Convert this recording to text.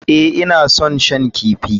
Ee, ina son shan kifi.